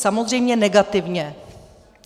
Samozřejmě negativně!